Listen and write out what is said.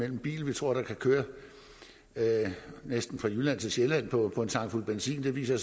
en bil man tror kan køre næsten fra jylland til sjælland på en tankfuld benzin det viser